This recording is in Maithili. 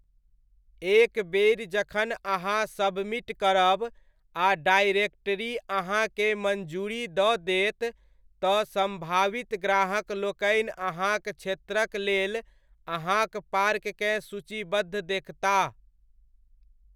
एक बेरि जखन अहाँ सबमिट करब आ डायरेक्टरी अहाँकेँ मञ्जूरी दऽ देत, तऽ सम्भावित ग्राहकलोकनि अहाँक क्षेत्रक लेल अहाँक पार्ककेँ सूचीबद्ध देखताह।